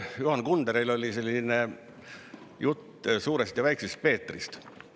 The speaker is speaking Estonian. Juhan Kunderil oli selline jutt Suurest Peetrist ja Väiksest Peetrist.